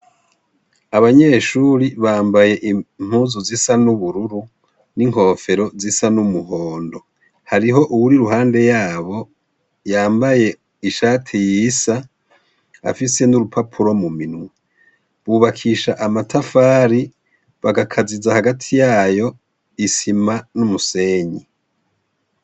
Abanyeshuri bambaye impuzu zisa n'ubururu n'inkofero zisa n'umuhondo. Hariho uwur' iruhande yabo yambaye ishati yisa , afise n'urupapuro muminwe, bubakisha amatafari, bakaziza hagati yayo , isima n'umusenyi.